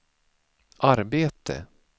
arbete